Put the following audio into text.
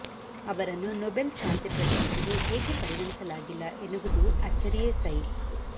ಅವರನ್ನು ನೊಬೆಲ್ ಶಾಂತಿ ಪ್ರಶಸ್ತಿಗೆ ಏಕೆ ಪರಿಗಣಿಸಲಾಗಿಲ್ಲ ಎನ್ನುವುದು ಅಚ್ಚರಿಯೇ ಸೈ